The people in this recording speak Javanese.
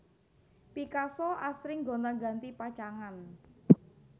Picasso asring gonti ganti pacangan